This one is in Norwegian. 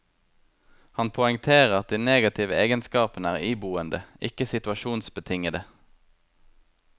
Han poengterer at de negative egenskapene er iboende, ikke situasjonsbetingede.